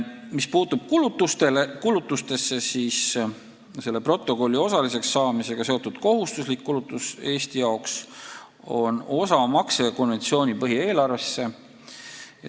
Mis puutub kulutustesse, siis selle protokolli osaliseks saamisega seotud kohustuslik kulutus Eesti jaoks on osamakse konventsiooni põhieelarvesse.